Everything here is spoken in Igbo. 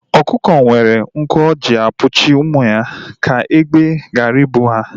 Ọkụkọ nwere nku o ji ekpuchi ụmụ ya ka egbe ghara I bụ ha